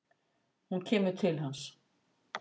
Hún kemur til hans.